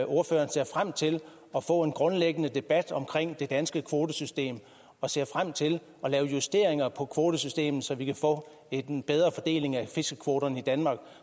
ordføreren ser frem til at få en grundlæggende debat om det danske kvotesystem og ser frem til at lave justeringer på kvotesystemet så vi kan få en bedre fordeling af fiskekvoterne i danmark